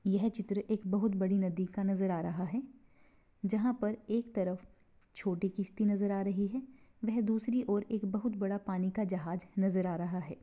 यह चित्र एक बहुत बड़ी नदी का नजर आ रहा है जहा पर एक तरफ छोटी कीसती नजर आ रही है वे दूसरी ओर एक बहुत बड़ा पानी का जहाज नजर आ रहा है।